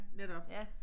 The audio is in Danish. Netop